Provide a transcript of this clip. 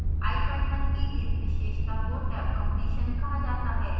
ipython की इस विशेषता को tabcompletion कहा जाता है